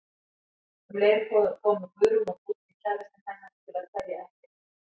Um leið komu Guðrún og Dúddi kærastinn hennar til að kveðja ekkjuna.